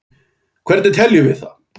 Hvernig teljum við það?